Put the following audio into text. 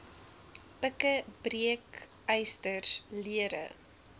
pikke breekysters lere